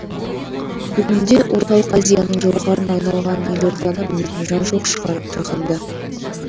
бүгінде орталық азияның жауһарына айналған елорданы білмейтін жан жоқ шығар жаһанда